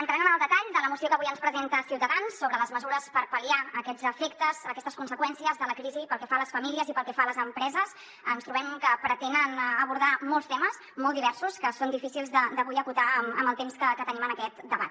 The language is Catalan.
entrant en el detall de la moció que avui ens presenta ciutadans sobre les mesures per pal·liar aquests efectes aquestes conseqüències de la crisi pel que fa a les famílies i pel que fa a les empreses ens trobem que pretenen abordar molts temes molt diversos que són difícils avui d’acotar en el temps que tenim en aquest debat